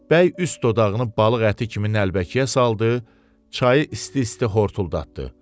Bəy üst dodağını balıq əti kimi nəlbəkiyə saldı, çayı isti-isti hortuldatdı.